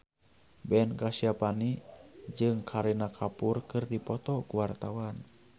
Ben Kasyafani jeung Kareena Kapoor keur dipoto ku wartawan